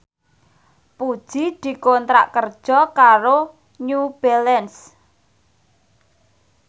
Puji dikontrak kerja karo New Balance